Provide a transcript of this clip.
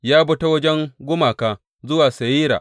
Ya bi ta wajen gumaka zuwa Seyira.